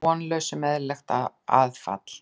Vonlaus um eðlilegt aðfall.